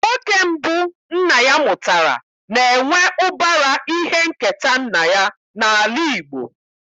Nwoke mbụ nna ya mụtara na-enwe ụbara ihe nketa nna ya n'ala Igbo.